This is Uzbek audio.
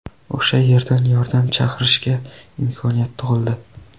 O‘sha yerdan yordam chaqirishga imkoniyat tug‘ildi.